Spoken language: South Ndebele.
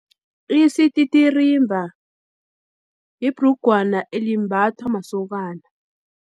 Isititirimba, ibhrugwana elimbathwa masokana.